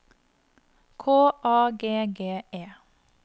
K A G G E